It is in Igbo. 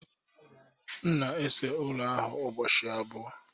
M na-ese ụlọ ahụ ụbọchị abụọ